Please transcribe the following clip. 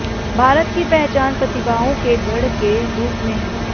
भारत की पहचान प्रतिभाओं के गढ़ के रूप में है